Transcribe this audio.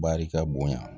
Barika bonya